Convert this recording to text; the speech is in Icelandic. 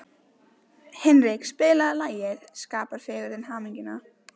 Hinrik, spilaðu lagið „Skapar fegurðin hamingjuna“.